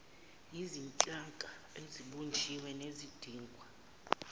yizinhlaka esezibunjiwe nezidingwa